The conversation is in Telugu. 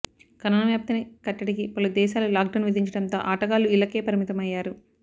కరోనా వ్యాప్తిని కట్టడికి పలు దేశాలు లాక్డౌన్ విధించడంతో ఆటగాళ్లు ఇళ్లకే పరిమితం అయ్యారు